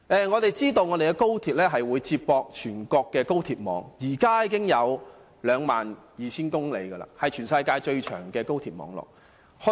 我們知道高鐵將與全國高鐵網連接，高鐵網絡現時已長達 22,000 公里，是全世界最長的高鐵網絡。